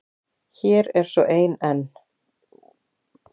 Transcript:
Hér er svo ein enn.